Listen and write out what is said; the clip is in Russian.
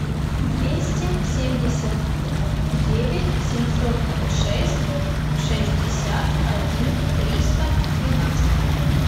двести семьдесят девять семьсот шесть шестьдесят один триста двенадцать